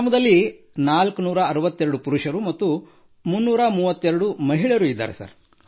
ಗ್ರಾಮದಲ್ಲಿ 462 ಪುರುಷರು ಮತ್ತು 332 ಮಹಿಳೆಯರು ಇದ್ದಾರೆ ಸರ್